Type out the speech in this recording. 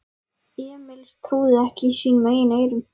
Emil trúði ekki sínum eigin eyrum.